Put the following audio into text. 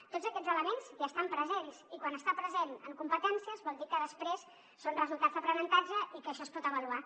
tots aquests elements hi estan presents i quan està present en competències vol dir que després són resultats d’aprenentatge i que això es pot avaluar